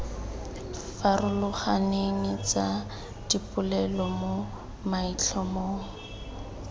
farologaneng tsa dipolelo mo maitlhomong